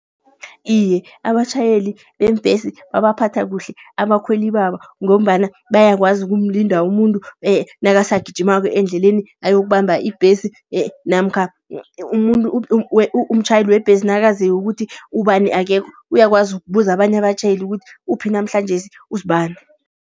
Iye, abatjhayeli beembhesi babaphatha kuhle abakhweli babo. Ngombana bayakwazi ukumlinda umuntu nakasagijimako endleleni ayokubamba ibhesi. Namkha umuntu umtjhayeli webhesi nakaziko ukuthi ubani akekho, uyakwazi ukubuza abanye abatjhayeli ukuthi uphi, namhlanjesi uzibani.